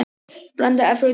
Blanda af öllum dönsum.